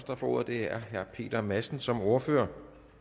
der får ordet er herre peter madsen som ordfører